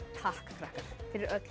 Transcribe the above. takk krakkar fyrir öll